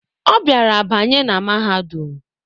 Obiara banye na mahadum